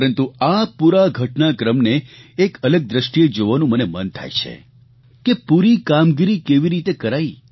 પરંતુ આ પૂરા ઘટનાક્રમને એક અલગ દ્રષ્ટિએ જોવાનું મને મન થાય છે કે પૂરી કામગીરી કેવી રીતે કરાઇ